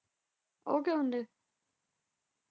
ਉਹ ਕੀ ਹੁੰਦੇ?